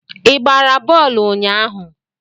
Ị gbara bọọlụ ụnyahụ?